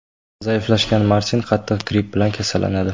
Zaiflashgan Martin qattiq gripp bilan kasallanadi.